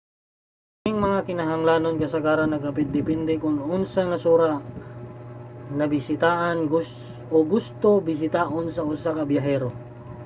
kining mga kinahanglanon kasagaran nagadepende kon unsang nasura ang nabisitaan o gusto bisitaon sa usa ka biyahero